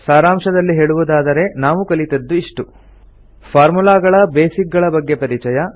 ಸಾರಾಂಶದಲ್ಲಿ ಹೇಳುವುದಾದರೆ ನಾವು ಕಲಿತದ್ದು ಇಷ್ಟು ಫಾರ್ಮುಲಾಗಳ ಬೇಸಿಕ್ ಗಳ ಬಗ್ಗೆ ಪರಿಚಯ